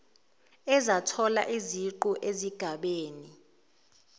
ezathola iziqu ezigabeni